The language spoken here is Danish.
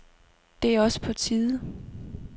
Det er også på tide.